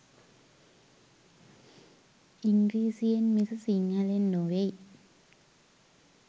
ඉංග්‍රිසියෙන් මිස සිංහලෙන් නොවෙයි